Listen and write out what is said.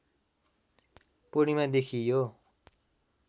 पूर्णिमादेखि यो